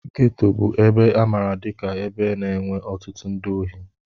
Geto bụ ebe a maara dika ebe na-enwe ọtụtụ ndị ohi.